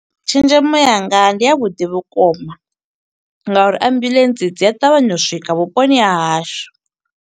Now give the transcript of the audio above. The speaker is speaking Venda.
Tshenzhemo yanga ndi ya vhuḓi vhukuma, nga uri ambulance dzi a ṱavhanya u swika vhuponi ha hashu.